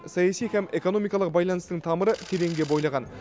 саяси һәм экономикалық байланыстың тамыры тереңге бойлаған